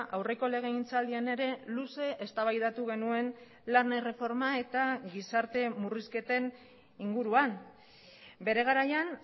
aurreko legegintzaldian ere luze eztabaidatu genuen lan erreforma eta gizarte murrizketen inguruan bere garaian